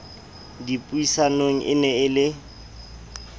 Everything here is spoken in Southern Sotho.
dipuisanong e ne e le